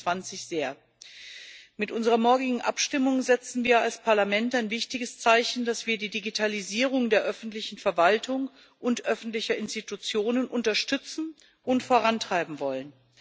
2020. Mit unserer morgigen Abstimmung setzen wir als Parlament ein wichtiges Zeichen, dass wir die Digitalisierung der öffentlichen Verwaltung und öffentlicher Institutionen unterstützen und vorantreiben wollen.